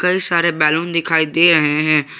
कई सारे बैलून दिखाई दे रहे हैं।